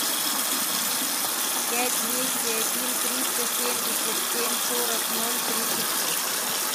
пять двести один триста семьдесят семь сорок ноль тридцать шесть